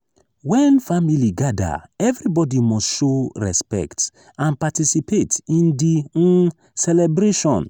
when family gather everybody must show respect and participate in di um celebration.